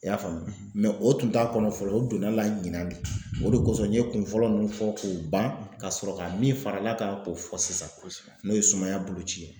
I y'a faamu o tun t'a kɔnɔ fɔlɔ o donn'a la ɲina de o de kɔsɔn n ɲe kun fɔlɔ nunnu fɔ k'o ban ka sɔrɔ ka min far'a la kan k'o fɔ sisan n'o ye sumaya boloci ye.